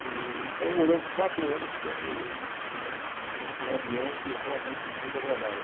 E então, moramos quatro anos com um, né, num num ambiente realmente muito agradável.